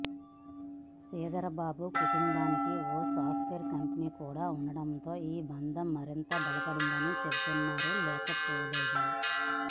శ్రీధర్ బాబు కుటుంబానికి ఓ software company కూడా ఉండడంతో ఈ బంధం మరింత బలపడిందని చెప్తున్నవారు లేకపోలేదు